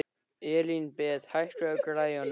Elínbet, hækkaðu í græjunum.